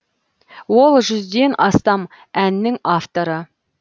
ол жүзден астам әннің авторы